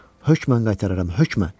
Hökmən qaytararam, hökmən.